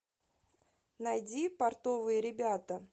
найди портовые ребята